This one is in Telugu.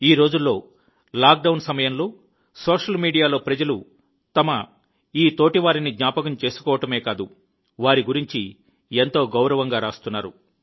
ఈ రోజుల్లో లాక్ డౌన్ సమయంలో సోషల్ మీడియాలో ప్రజలు తమ ఈ తోటివారిని జ్ఞాపకం చేసుకోవడమే కాదు వారి గురించి ఎంతో గౌరవంగా రాస్తున్నారు